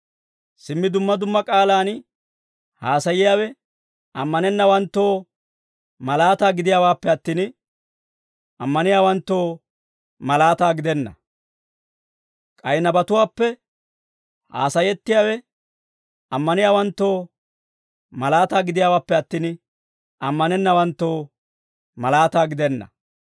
Simmi dumma dumma k'aalaan haasaayiyaawe ammanennawanttoo malaataa gidiyaawaappe attin, ammaniyaawanttoo malaataa gidenna. K'ay nabatuwaappe haasayettiyaawe ammaniyaawanttoo malaataa gidiyaawaappe attin, ammanennawanttoo malaataa gidenna.